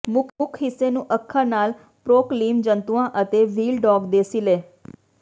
ਮੁੱਖ ਹਿੱਸੇ ਨੂੰ ਅੱਖਾਂ ਨਾਲ ਪ੍ਰਕੋਲੀਮ ਜੰਤੂਆਂ ਅਤੇ ਵ੍ਹੀਲਡੌਗ ਦੇ ਸਿਲੇ